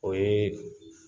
O yee